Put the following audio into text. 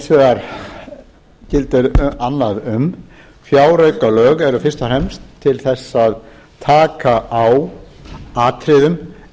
fjáraukalagafrumvarpið gildir hins vegar annað um fjáraukalög eru fyrst og fremst til þess að taka á atriðum